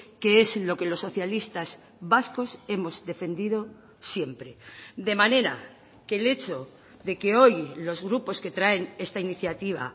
que es lo que los socialistas vascos hemos defendido siempre de manera que el hecho de que hoy los grupos que traen esta iniciativa